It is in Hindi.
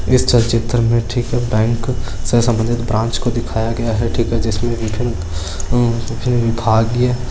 इस चलचित्र में बैंक से सबन्धित ब्रांच को दिखाया गया है भाग लिया।